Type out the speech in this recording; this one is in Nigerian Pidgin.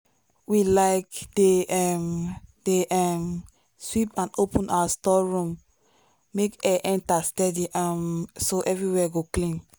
we um dey um dey um sweep and open our store room make air enter steady um so everywhere go clean.